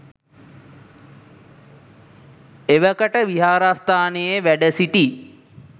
එවකට විහාරස්ථානයේ වැඩ සිටි